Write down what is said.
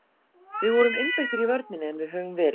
Við vorum einbeittir í vörninni en við höfum verið.